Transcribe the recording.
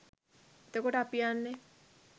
එතකොට අපි යන්නේ